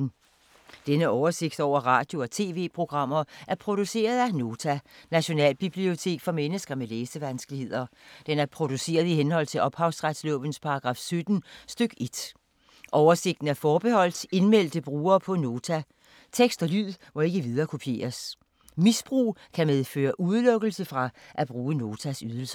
Denne oversigt over radio og TV-programmer er produceret af Nota, Nationalbibliotek for mennesker med læsevanskeligheder. Den er produceret i henhold til ophavsretslovens paragraf 17 stk. 1. Oversigten er forbeholdt indmeldte brugere på Nota. Tekst og lyd må ikke viderekopieres. Misbrug kan medføre udelukkelse fra at bruge Notas ydelser.